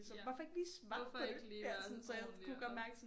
Ja hvorfor ikke lige være sådan ordenlig og